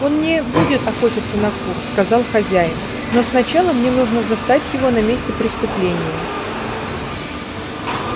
он не будет охотиться на кур сказал хозяин но сначала мне нужно застать его на месте преступления